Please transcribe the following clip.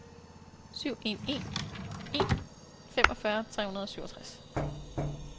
syv en en en femogfyrre tre hundrede og syvogtres